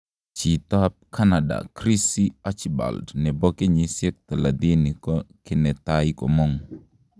Chiito ap Canada Chrissy archibald nepo kenyishek thalatini ko kinetai komong'